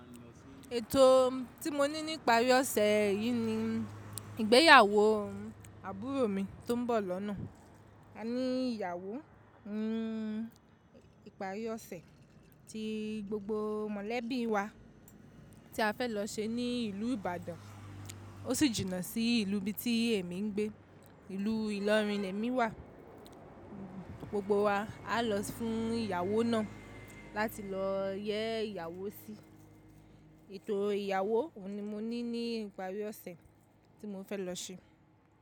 Ètò tí mo ní ní ìparí ọ̀sẹ̀ yìí ni ìgbéyàwó àbúrò mi tó ń bọ̀ lọ́nà. A ní ìyàwó, ń ìparí ọ̀sẹ̀ ti gbogbo mọ̀lẹ́bí wa tí a fẹ́ lọ ṣe ní ìlú Ìbàdàn, ó sì jìnnà sí ìlú bí tí èmi ń gbé, ìlú Ìlọrin ni èmi wà. Gbogbo wa á lọ fún ìyàwó náà láti lọ yẹ́ ìyàwó sí. Ètò ìyàwó ni mo ní ní ìparí ọ̀sẹ̀ tí mo fẹ́ lọ ṣe.